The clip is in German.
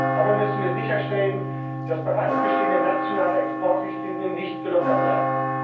Dabei müssen wir sicherstellen, dass bereits bestehende nationale Exportrichtlinien nicht gelockert werden.